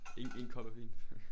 En en kop er fint